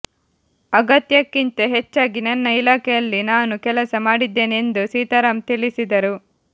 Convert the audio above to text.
ಅಗತ್ಯಕ್ಕಿಂತ ಹೆಚ್ಚಾಗಿ ನನ್ನ ಇಲಾಖೆಯಲ್ಲಿ ನಾನು ಕೆಲಸ ಮಾಡಿದ್ದೇನೆ ಎಂದು ಸೀತಾರಾಂ ತಿಳಿಸಿದರು